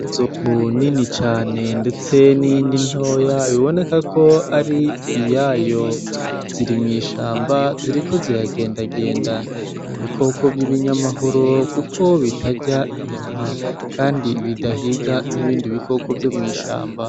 Inzovu nini cane ndetse niyindi ntoya bibonekako ari iyayo .Ziri mw'ishamba ziriko ziragenda genda ni ibikoko vyibinyamahoro kuko bitarya inyama kandi bidahiga nkibindi bikoko vyo mwishamba .